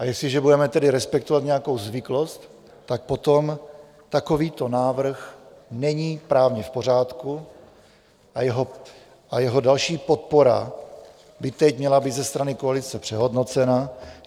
A jestliže budeme tedy respektovat nějakou zvyklost, tak potom takovýto návrh není právě v pořádku a jeho další podpora by teď měla být ze strany koalice přehodnocena.